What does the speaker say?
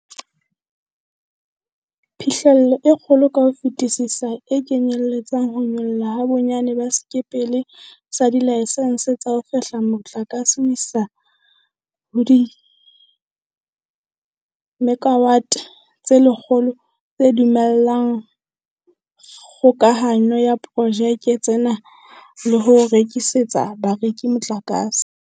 Phihlello e kgolo ka ho fetisisa e kenyeletsa ho nyollwa ha bonyane ba sekepele sa dilaesense tsa ho fehla motlakase ho isa ho dimekawate tse 100, tse dumellang kgokahano ya diporojeke tsena le ho rekisetsa bareki motlakase.